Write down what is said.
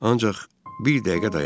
Ancaq bir dəqiqə dayan.